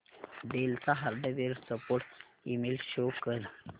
del चा hardware support email show कर